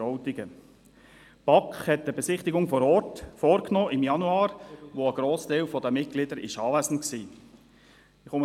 Die BaK hat im Januar eine Besichtigung vor Ort vorgenommen, bei der ein Grossteil der Mitglieder anwesend war.